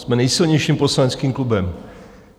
Jsme nejsilnějším poslaneckým klubem.